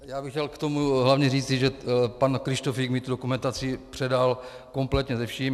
Já bych chtěl k tomu hlavně říci, že pan Kryštofík mi tu dokumentaci předal kompletně se vším.